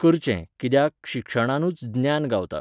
करचें, कित्याक, शिक्षणानूच ज्ञान गावता.